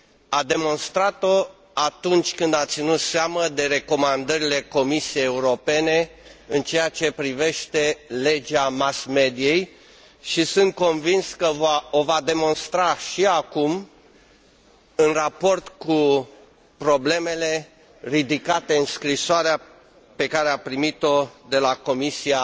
A demonstrat o atunci când a ținut seama de recomandările Comisiei Europene în ceea ce privește legea mass mediei și sunt convins că o va demonstra și acum, în raport cu problemele ridicate în scrisoarea pe care a primit o de la Comisia